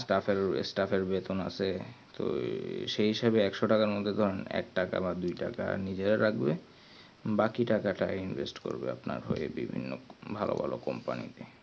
staff এর staff এর বেতন আছে তো সেই হিসেবে একশো টাকার মদদে ধরেন একটাকা বা দুই টাকা নিজেরা রাখবে বাকি টাকাটা invest করবে আপনার হয় বিভিন্ন ভালো ভালো company তে